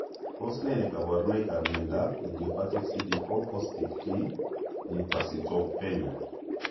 Tos ne kaborunoikap miondop idiopathic cd4 positive t lymphocytopenia?